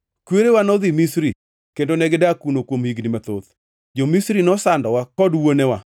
Kwerewa nodhi Misri, kendo negidak kuno kuom higni mathoth. Jo-Misri nosandowa kod wuonewa,